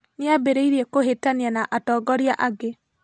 Nĩambĩrĩirie kũhĩtania na atongoria angĩ